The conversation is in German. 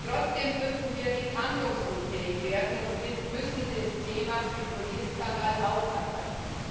Trotzdem dürfen wir nicht handlungsunfähig werden, und wir müssen das Thema Fipronil Skandal aufarbeiten.